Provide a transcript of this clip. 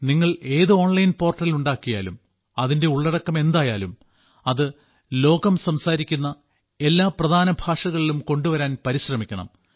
നിങ്ങൾ ഏത് online portal ഉണ്ടാക്കിയാലും അതിന്റെ ഉള്ളടക്കം എന്തായാലും അത് ലോകം സംസാരിക്കുന്ന എല്ലാ പ്രധാന ഭാഷകളിലും കൊണ്ടുവരാൻ പരിശ്രമിക്കണം